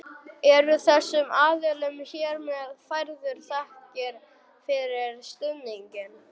Eru þessum aðilum hér með færðar þakkir fyrir stuðninginn.